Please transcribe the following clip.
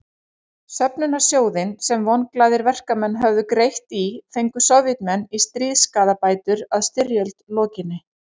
Söfnunarsjóðinn sem vonglaðir verkamenn höfðu greitt í fengu Sovétmenn í stríðsskaðabætur að styrjöld lokinni.